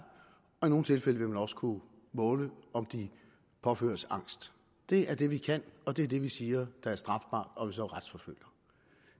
og i nogle tilfælde vil man også kunne måle om de påføres angst det er det vi kan og det er det vi siger er strafbart og som vi retsforfølger